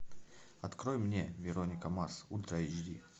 открой мне вероника марс ультра эйч ди